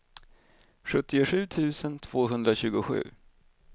sjuttiosju tusen tvåhundratjugosju